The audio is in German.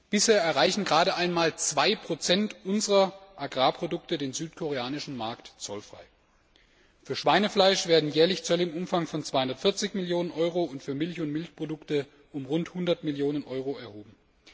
Bisher erreichen gerade einmal 2 unserer Agrarprodukte den südkoreanischen Markt zollfrei. Für Schweinefleisch werden jährlich Zölle im Umfang von 240 Millionen Euro und für Milch und Milchprodukte von rund 100 Millionen Euro erhoben.